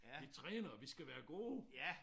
Vi træner vi skal være gode